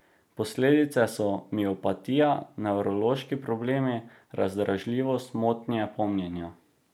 Posledice so miopatija, nevrološki problemi, razdražljivost, motnje pomnjenja.